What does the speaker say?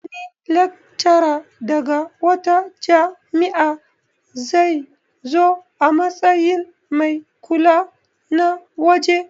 Wani laccara daga wata jami'a zai zo a matsayin mai kula na waje